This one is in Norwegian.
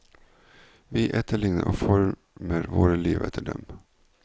Vi etterligner og former våre liv etter dem.